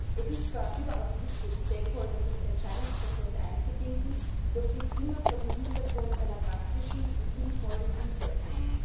Es ist zwar überaus wichtig, Stakeholder in Entscheidungsprozesse einzubinden, doch dies immer vor dem Hintergrund einer praktischen und sinnvollen Umsetzung.